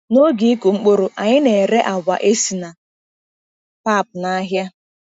N’oge ịkụ mkpụrụ, anyị ka na-ere agwa esi na pap n’ahịa.